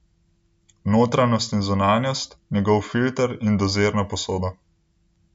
Notranjost in zunanjost, njegov filter in dozirno posodo.